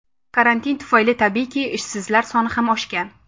Karantin tufayli, tabiiyki, ishsizlar soni ham oshgan.